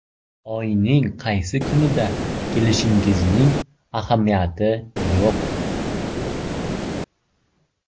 Oyning qaysi kunida kelishingizning ahamiyati yo‘q.